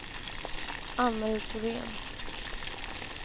Ann-Marie Thorén